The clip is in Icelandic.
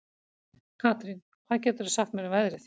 Karín, hvað geturðu sagt mér um veðrið?